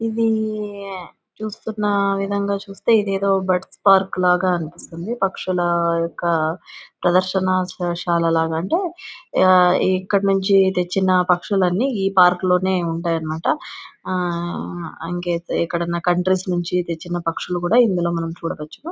ఇది చూస్తున్న విధంగా చూస్తే ఇది ఏదో బడ్స్ పార్క్ లాగా అనిపిస్తుంది. పక్షులా యొక్క ప్రదర్శన సే-శాల లాగా అంటే ఆ ఇక్కడి నుంచి తెచ్చిన పక్షుల అన్ని ఈ పార్కు లోనే ఉంటాయన్నమాట. ఆ ఇంకా అయితే ఎక్కడన్నా కంట్రీస్ నుంచి తెచ్చిన పక్షులు కూడా ఇందులో మనం చూడవచ్చు.